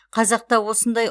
қазақта осындай